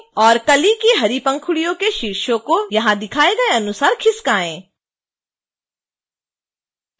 और कली की हरी पंखुड़ियों के शीर्षों को यहां दिखाए गए अनुसार खिसकायें